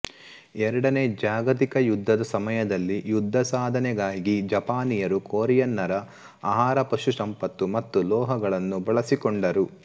ಎರಡನೇ ಜಾಗತಿಕ ಯುದ್ಧದ ಸಮಯದಲ್ಲಿ ಯುದ್ಧ ಸಾಧನೆಗಾಗಿ ಜಪಾನಿಯರು ಕೊರಿಯನ್ನರ ಆಹಾರಪಶುಸಂಪತ್ತು ಮತ್ತು ಲೋಹಗಳನ್ನು ಬಳಸಿಕೊಂಡರು